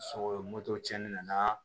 Sogo cɛni na n'a